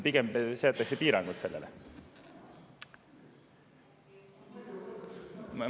Pigem seatakse piirangud sellele.